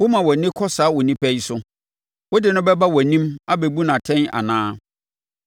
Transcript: Woma wʼani kɔ saa onipa yi so? Wode no bɛba wʼanim abɛbu no atɛn anaa?